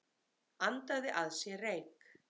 Andaði að sér reyk